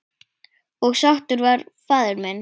Og sáttur var faðir minn.